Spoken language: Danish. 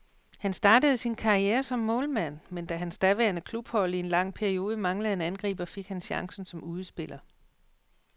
Han startede sin karriere som målmand, men da hans daværende klubhold i en lang periode manglede en angriber, fik han chancen som udespiller.